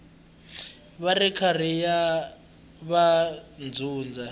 va ri karhi va dyondza